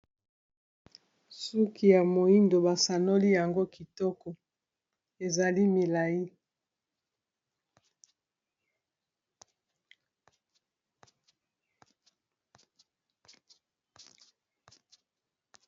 Suki ya moyindo basanoli yango kitoko ezali milayi.